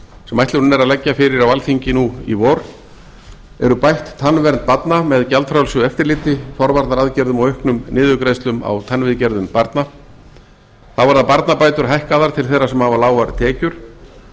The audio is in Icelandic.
sem ætlunin er að leggja fyrir á alþingi nú í vor er bætt tannvernd barna með gjaldfrjálsu eftirliti forvarnaraðgerðum og auknum niðurgreiðslum á tannviðgerðum barna þá verða barnabætur hækkaðar til þeirra sem hafa lágar tekjur